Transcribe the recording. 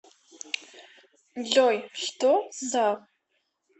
джой что за